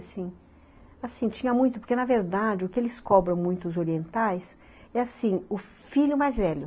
Assim, tinha muito... Porque, na verdade, o que eles cobram muito, os orientais, é assim, o filho mais velho.